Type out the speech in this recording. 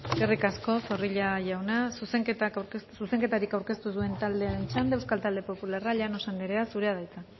eskerrik asko zorrilla jauna zuzenketarik aurkeztu ez duen taldearen txanda euskal talde popularra llanos andrea zurea da hitza